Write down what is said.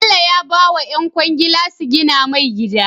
Bello ya bawa yan kwangila su gina mai gida